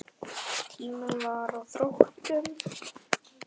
Tíminn var á þrotum.